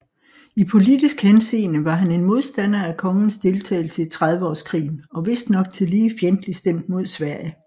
I politisk henseende var han en modstander af kongens deltagelse i trediveårskrigen og vistnok tillige fjendtlig stemt imod Sverige